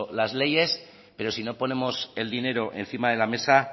las leyes pero si no ponemos el dinero encima de la mesa